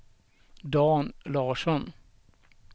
Dan Larsson